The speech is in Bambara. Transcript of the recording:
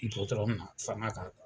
Dɔgɔtɔrɔ nana fanga ka kan